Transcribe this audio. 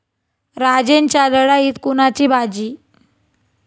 राजेंच्या लढाईत कुणाची बाजी?